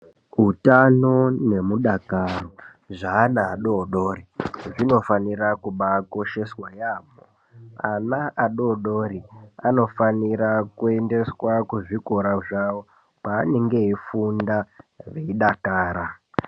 Utano nemudakaro zveana adodori zvinofanira kubaakosheswa yaamho ,ana adodori anofanira kuendeswa kuzvikora zvawo kwaanenge eifunda veidakara.